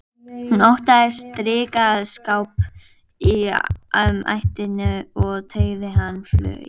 Hún óttaðist drykkjuskap í ættinni og tengdi hann flugi.